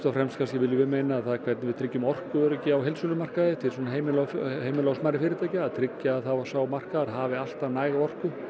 fremst hvernig við tryggjum orkuöryggi á heildsölumarkaði til heimila heimila og smærri fyrirtækja að tryggja að sá markaður hafi alltaf næga orku